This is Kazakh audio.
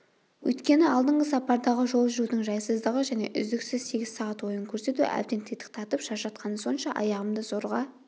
өйткені алдыңғы сапардағы жол жүрудің жайсыздығы және үздіксіз сегіз сағат ойын көрсету әбден титықтатып шаршатқаны сонша аяғымды зорға